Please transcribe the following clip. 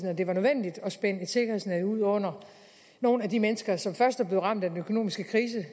at det var nødvendigt at spænde et sikkerhedsnet ud under nogle af de mennesker som først er blevet ramt af den økonomiske krise